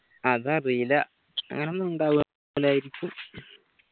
അത് അറിയില്ല അങ്ങനൊന്നു ഉണ്ടാവുല്ലായിരിക്കും